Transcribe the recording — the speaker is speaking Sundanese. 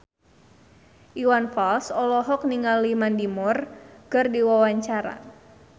Iwan Fals olohok ningali Mandy Moore keur diwawancara